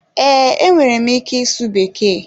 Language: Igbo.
Ee, enwere m ike ịsụ bekee